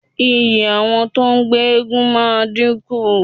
Iyì àwọn tó ń gbé eégún máa dínkù.